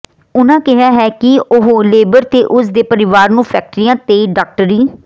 ਉਨ੍ਹਾਂ ਕਿਹਾ ਹੈ ਕਿ ਉਹ ਲੇਬਰ ਤੇ ਉਸ ਦੇ ਪਰਿਵਾਰ ਨੂੰ ਫੈਕਟਰੀਆਂ ਤੇ ਡਾਕਟਰੀ